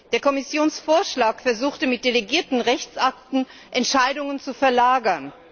Der Kommissionsvorschlag versuchte, mit delegierten Rechtsakten Entscheidungen zu verlagern.